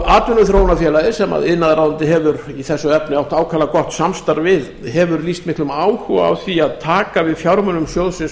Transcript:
atvinnuþróunarfélagið sem iðnaðarráðuneytið hefur í þessu efni átt ákaflega gott samstarf við hefur lýst miklum áhuga á því að taka við fjármunum sjóðsins